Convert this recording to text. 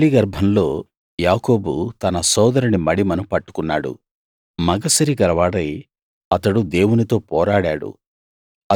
తల్లి గర్భంలో యాకోబు తన సోదరుని మడిమెను పట్టుకున్నాడు మగసిరి కలవాడై అతడు దేవునితో పోరాడాడు